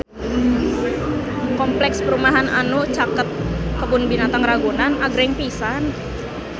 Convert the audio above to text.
Kompleks perumahan anu caket Kebun Binatang Ragunan agreng pisan